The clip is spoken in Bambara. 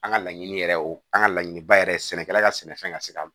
An ka laɲini yɛrɛ o an ka laɲiniba yɛrɛ sɛnɛkɛla ka sɛnɛfɛn ka se ka